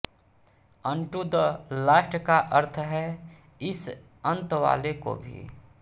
अन्टू the last का अर्थ है इस अंतवाले को भी